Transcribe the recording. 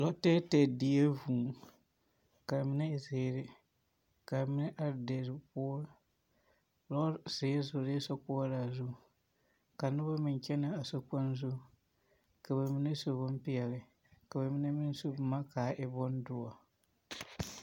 lɔ tɛɛtɛɛ die vũũ. Ka a mine e zeere ka amine are deir poore. lɔzeɛ zoree sokoɔraa zu ka noba meŋ kyɛnɛa sokpoŋ zu. Ka ba mine su bompeɛle, ka ba mine meŋ su boma ka a e bondoɔ.